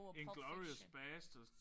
Inglourious bastards